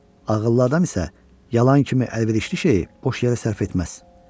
Ağıllı adam isə yalan kimi əlverişli şeyi boş yerə sərf etməz.